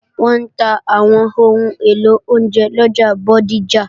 Wọ́n ń ta àwọn ohun èlò oúnjẹ lọjà Bódìjà